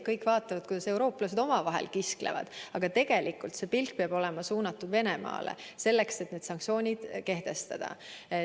Kõik vaatavad, kuidas eurooplased omavahel kisklevad, aga tegelikult peaks pilk olema suunatud Venemaale, sellele, et need sanktsioonid kehtestada.